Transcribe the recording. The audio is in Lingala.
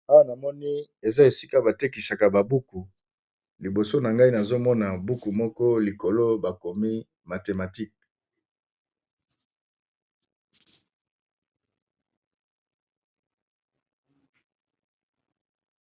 Awa namoni eza esika ba tekisaka ba buku liboso na ngai nazomona buku moko likolo bakomi mathematike.